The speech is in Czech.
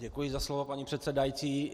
Děkuji za slovo, paní předsedající.